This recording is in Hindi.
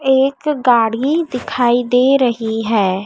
एक गाड़ी दिखाई दे रही है।